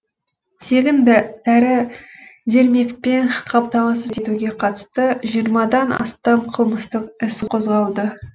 тегін дәрі дермекпен қамтамасыз етуге қатысты жиырмадан астам қылмыстық іс қозғалды